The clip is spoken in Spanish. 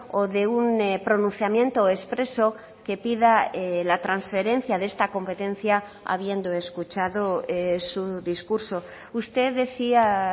o de un pronunciamiento expreso que pida la transferencia de esta competencia habiendo escuchado su discurso usted decía